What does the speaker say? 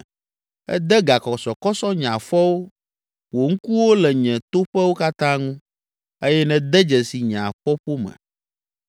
Ède gakɔsɔkɔsɔ nye afɔwo, wò ŋkuwo le nye toƒewo katã ŋu eye nède dzesi nye afɔƒome.